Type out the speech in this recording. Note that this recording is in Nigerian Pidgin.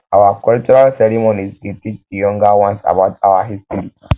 our cultural ceremonies dey teach di younger ones about our history